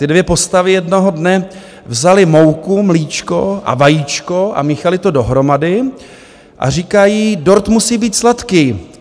Ty dvě postavy jednoho dne vzaly mouku, mlíčko a vajíčko a míchaly to dohromady a říkají: dort musí být sladký.